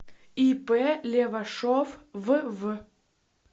ип левашов вв